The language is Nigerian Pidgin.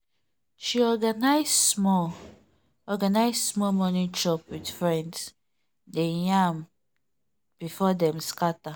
she organize small organize small morning chop with friends dem yarn before dem scatter.